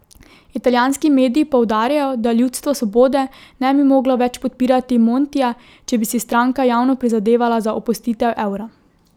Italijanski mediji poudarjajo, da Ljudstvo svobode ne bi moglo več podpirati Montija, če bi si stranka javno prizadevala za opustitev evra.